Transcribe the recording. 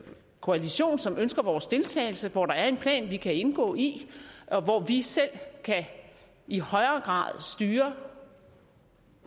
koalition som ønsker vores deltagelse hvor der er en plan vi kan indgå i og hvor vi selv i højere grad kan styre